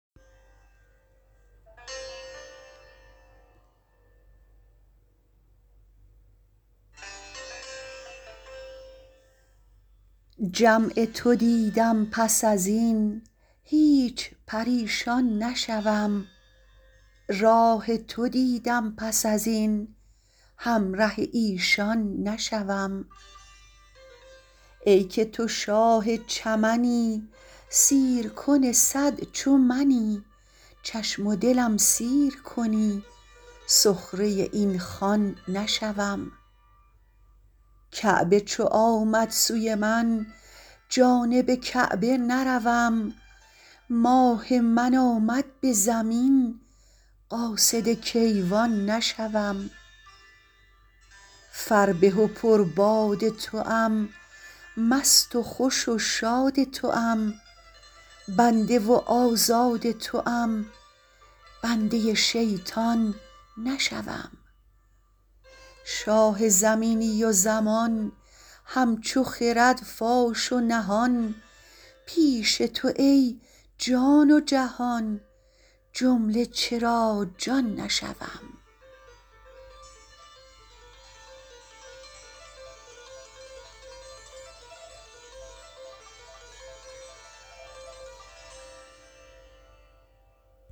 جمع تو دیدم پس از این هیچ پریشان نشوم راه تو دیدم پس از این همره ایشان نشوم ای که تو شاه چمنی سیرکن صد چو منی چشم و دلم سیر کنی سخره این خوان نشوم کعبه چو آمد سوی من جانب کعبه نروم ماه من آمد به زمین قاصد کیوان نشوم فربه و پرباد توام مست و خوش و شاد توام بنده و آزاد توام بنده شیطان نشوم شاه زمینی و زمان همچو خرد فاش و نهان پیش تو ای جان و جهان جمله چرا جان نشوم